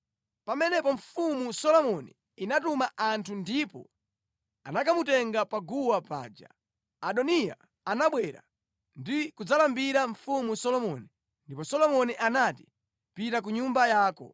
Pamenepo Mfumu Solomoni inatuma anthu ndipo anakamutenga paguwa paja. Adoniya anabwera ndi kudzalambira Mfumu Solomoni, ndipo Solomoni anati, “Pita ku nyumba yako.”